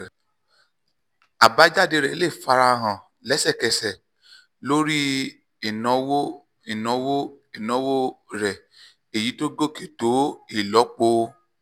àbájáde rẹ̀ lè fara hàn lẹ́sẹ̀kẹsẹ̀ lórí ìnáwó ìnáwó ìnáwó rẹ̀ èyí tó gòkè tó ìlọ́po